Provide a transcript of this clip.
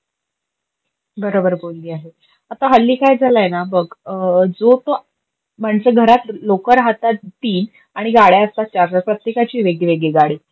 बरोबर बोलली आहे. आता हल्ली काय झालंयना बग, जो तो म्हणजे घरात लोक राहतात तीन आणि गाड्या असतात चार, पाच प्रत्तेकाची वेगवेगळी गाडी.